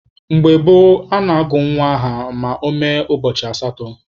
Mgbe gboo, a na-agụ nwa aha ma ọ mee ụbọchị asatọ.